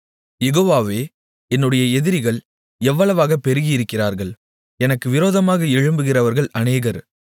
யெகோவாவே என்னுடைய எதிரிகள் எவ்வளவாகப் பெருகியிருக்கிறார்கள் எனக்கு விரோதமாக எழும்புகிறவர்கள் அநேகர்